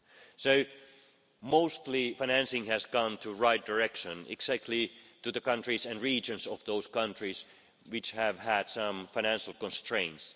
So mostly the financing has gone in the right direction, exactly to the countries and regions of those countries which have had some financial constraints.